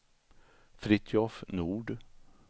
Fritiof Nord